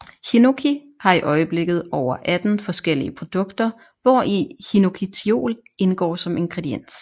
Hinoki har i øjeblikket over 18 forskellige produkter hvori hinokitiol indgår som ingrediens